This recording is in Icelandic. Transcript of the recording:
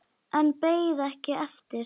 En beið ekki eftir svari.